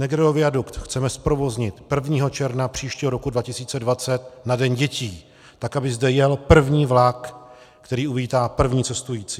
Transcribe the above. Negrelliho viadukt chceme zprovoznit 1. června příštího roku 2020 na Den dětí tak, aby zde jel první vlak, který uvítá první cestující.